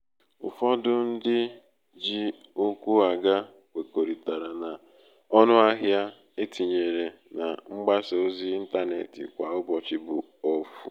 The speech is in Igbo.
ụfọdụ ndị um ji ukwu aga kwekoritara na um ọnụahịa e tinyere na mgbasa ozi 'ịntanetị kwa ụbọchị bu ofu